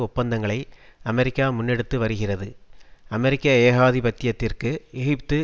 ஒப்பந்தங்களை அமெரிக்கா முன்னெடுத்து வருகிறது அமெரிக்க ஏகாதிபத்தியத்திற்கு எகிப்து